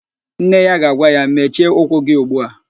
Nne ya ga-agwa ya, mechie ụkwụ gị ugbu a!